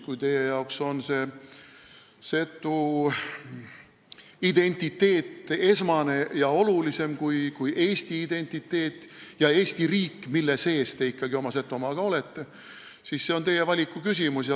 Kui teie jaoks on setu identiteet esmane ja olulisem kui eesti identiteet ja Eesti riik, mille sees te ikkagi oma Setomaaga olete, siis see on teie valiku küsimus.